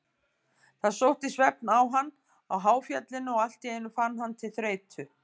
Það sótti svefn á hann á háfjallinu og allt í einu fann hann til þreytu.